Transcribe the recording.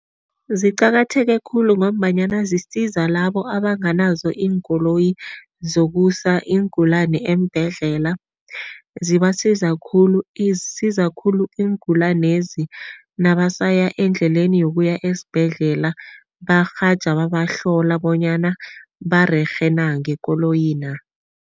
Ziqakatheke khulu ngombanyana zisiza labo abanganazo iinkoloyi zokusa iingulani eembhedlela. Zibasiza khulu, isiza khulu iingulanezi nabasaya endleleni yokuya esibhedlela, barhaja babahlola bonyana barerhe na ngekoloyina.